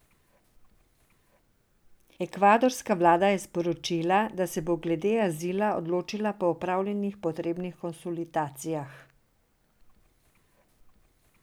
Ekvadorska vlada je sporočila, da se bo glede azila odločila po opravljenih potrebnih konzultacijah.